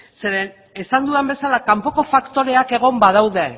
zeren esan dudan bezala kanpoko faktoreak egon badaude